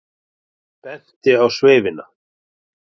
Benti á sveifina.